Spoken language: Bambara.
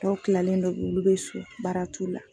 Dɔw kilalen do olu bɛ so baara t'u la.